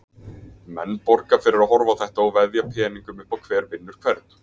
Menn borga fyrir að horfa á þetta og veðja peningum upp á hver vinnur hvern.